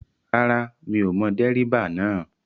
Rárá mi ò mọ dẹ́ríbà náà